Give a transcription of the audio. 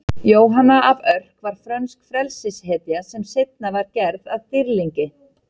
Jóhanna af Örk var frönsk frelsishetja sem seinna var gerð að dýrlingi.